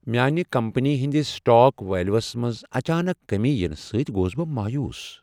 میانہ کمپٔنی ہنٛدس stock values منٛز اچانک کٔمی ینہٕ سۭتۍ گوس بہٕ مویوٗس ۔